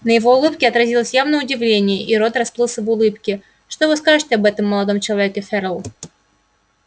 на его улыбке отразилось явное удивление и рот расплылся в улыбке что вы скажете об этом молодом человеке ферл